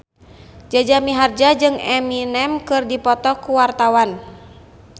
Jaja Mihardja jeung Eminem keur dipoto ku wartawan